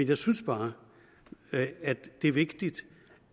jeg synes bare at det er vigtigt